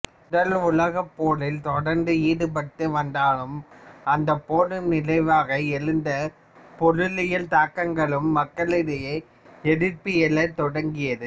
முதல் உலகப்போரில் தொடர்ந்து ஈடுபட்டு வந்ததாலும் அந்தப் போரின் விளைவாக எழுந்த பொருளியல் தாக்கங்களாலும் மக்களிடையே எதிர்ப்பு எழத் தொடங்கியது